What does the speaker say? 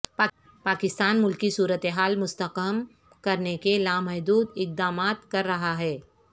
پاکستان ملکی صورتحال مستحکم کرنے کے لامحدود اقدامات کر رہا ہے